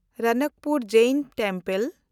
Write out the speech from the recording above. Ranakpur Jain temple